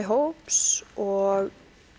hóps og